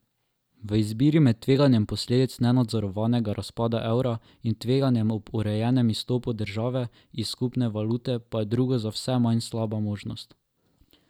V izbiri med tveganjem posledic nenadzorovanega razpada evra in tveganjem ob urejenem izstopu države iz skupne valute pa je drugo za vse manj slaba možnost.